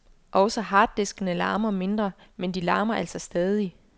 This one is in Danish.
Også harddiskene larmer mindre, men de larmer altså stadig.